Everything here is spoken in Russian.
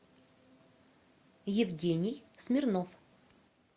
евгений смирнов